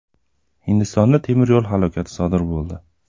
Hindistonda temir yo‘l halokati sodir bo‘ldi.